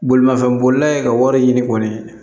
Bolimafɛnbolila ye ka wari ɲini kɔni